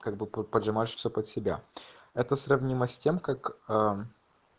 как бы под поджимаешь все под себя это сравнимо с тем как а